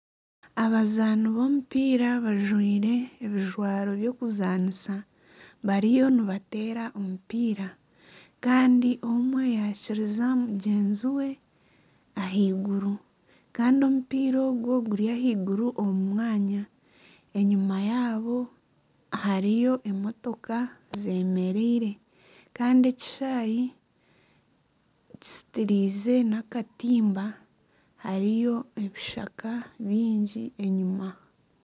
Abazaani b'omupiira bajwaire ebijwaro by'okuzaaanisa bariyo nibateera omupiira. Kandi omwe yaakiriza mugyenzi we ahaihguru. Kandi omupiira ogwe guri ahaiguru omu mwanya. Enyima yaabo hariyo emotoka zemereire. Kandi ekishaayi kizitiriize nakatimba. Hariyo ebishaka bingi enyima .